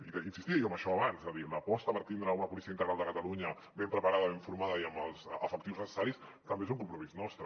hi insistia jo en això abans és a dir l’aposta per tindre una policia integral de catalunya ben preparada ben formada i amb els efectius necessaris també és un compromís nostre